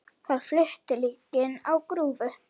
Þar flutu líkin á grúfu.